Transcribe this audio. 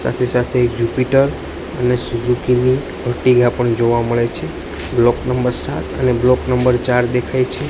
સાથે સાથે એક જુપીટર અને સુઝુકી ની એરટિગા પણ જોવા મળે છે બ્લોક નંબર સાત અને બ્લોક નંબર ચાર દેખાય છે.